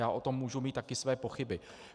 Já o tom můžu mít taky své pochyby.